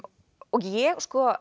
ég